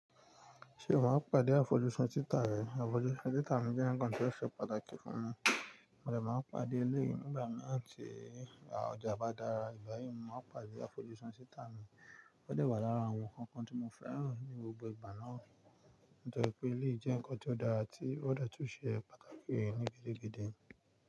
Ṣé o máa ń pàdé àfojúsùn títà rẹ? Àfojúsùn títà mi jẹ́ ǹkan tó ṣe pàtàkì fún mi, mo dẹ̀ máa ń pàdé elẹ́yìi nígbà mi ti à ojà bá dára, ìgbà yìí mo máa ń pàdé àfojúsùn títà mi. Ó dẹ̀ wà lára àwọn ǹkan kan tí mo fẹ́ràn ní gbogbo ìgbà náà, nítorí pé eléyìí jẹ́ ǹkan tó dára tí ó de tun ṣe pàtàkì ní gidigidi.